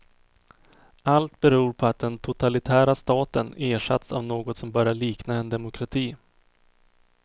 Allt beror på att den totalitära staten ersatts av något som börjar likna en demokrati.